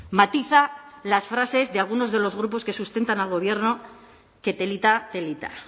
matiza las frases de algunos de los grupos que sustentan al gobierno qué telita telita